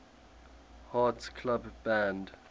hearts club band